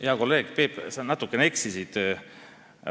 Hea kolleeg Peep, sa natukene eksisid.